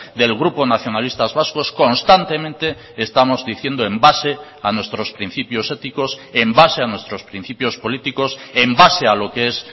del grupo nacionalistas vascos constantemente estamos diciendo en base a nuestros principios éticos en base a nuestros principios políticos en base a lo que es